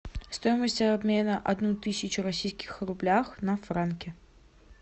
стоимость обмена одну тысячу российских рублях на франки